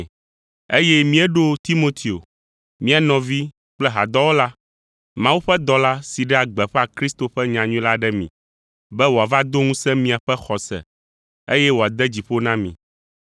eye míeɖo Timoteo, mía nɔvi kple hadɔwɔla; Mawu ƒe dɔla si ɖea gbeƒã Kristo ƒe nyanyui la ɖe mi, be wòava do ŋusẽ miaƒe xɔse, eye wòade dzi ƒo na mi,